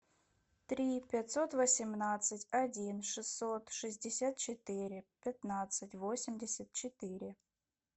три пятьсот восемнадцать один шестьсот шестьдесят четыре пятнадцать восемьдесят четыре